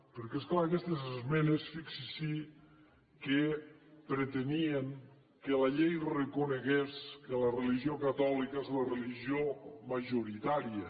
perquè és clar aquestes esmenes fixi’s que pretenien que la llei reconegués que la religió catòlica és la religió majoritària